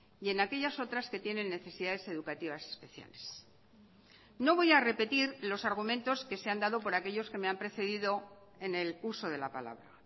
y en aquellas otras que tienen necesidades educativas especiales no voy a repetir los argumentos que se han dado por aquellos que me han precedido en el uso de la palabra